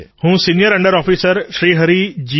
હું senior under officer Shri જી